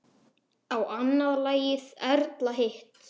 Ég annað lagið, Erla hitt!